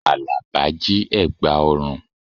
Àlàbá jí ẹ̀gbà ọrùn